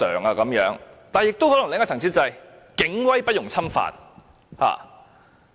但另一個層次的考慮，可能是警威不容侵犯。